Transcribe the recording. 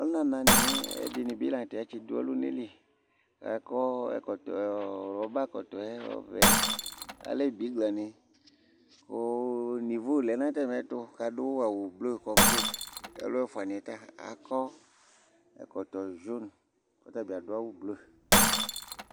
ɔluna na ni ɛdini bi lantɛ atsi do ɔluna li k'akɔ ɛkɔtɔ rɔba kɔtɔ yɛ ɔvɛ alɛ bigla ni kò nevo lɛ n'atami ɛto k'adu awu ublu kɔmplen k'ɔlu ɛfuani yɛ ta akɔ ɛkɔtɔ jun k'ɔtabi adu awu blu